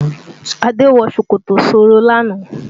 Adé wọ ṣòkòtò sọ́ọ́rọ́ lánàá